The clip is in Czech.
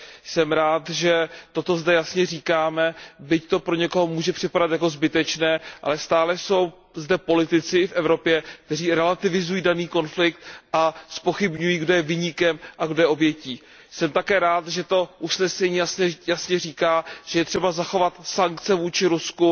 Jsem rád, že toto zde jasně říkáme, byť to někomu může připadat jako zbytečné, ale stále jsou zde politici, i v Evropě, kteří relativizují daný konflikt a zpochybňují, kdo je viníkem a kdo je obětí. Jsem také rád, že to usnesení jasně říká, že je třeba zachovat sankce vůči Rusku.